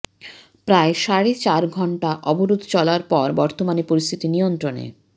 প্রায় সাড়ে চার ঘন্টা অবরোধ চলার পর বর্তমানে পরিস্থিতি নিয়ন্ত্রণে